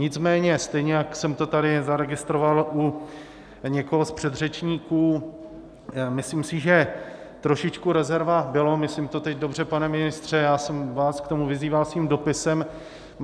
Nicméně stejně jak jsem to tady zaregistroval u někoho z předřečníků, myslím si, že trošičku rezerva bylo - myslím to teď dobře, pane ministře, já jsem vás k tomu vyzýval svým dopisem.